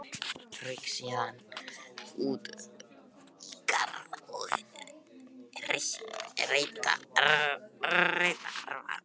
Rauk síðan út í garð að reyta arfa.